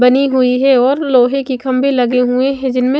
बनी हुई है और लोहे के खम्बे लगे हुए हैं जिनमें--